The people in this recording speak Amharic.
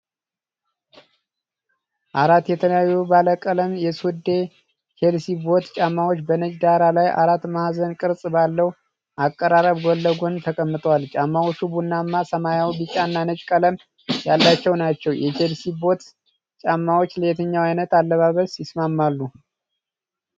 አራት የተለያዩ ባለቀለም የሱዴ (Suede) የቼልሲ ቦት ጫማዎች በነጭ ዳራ ላይ አራት ማዕዘን ቅርጽ ባለው አቀራረብ ጎን ለጎን ተቀምጠዋል። ጫማዎቹ ቡናማ፣ ሰማያዊ፣ ቢጫና ነጭ ቀለም ያላቸው ናቸው። የቼልሲ ቦት ጫማዎች ለየትኛው አይነት አለባበስ ይስማማሉ?